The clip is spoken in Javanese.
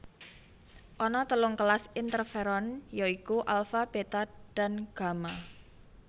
Ana telung kelas interferon ya iku alfa beta dan gamma